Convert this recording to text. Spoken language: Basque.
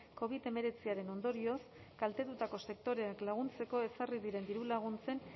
covid hemeretziaren ondorioz kaltetutako sektoreak laguntzeko ezarri diren dirulaguntzen